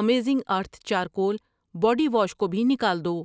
Amazing earth charcoal body wash کو بھی نکال دو۔